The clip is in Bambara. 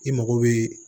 I mago bɛ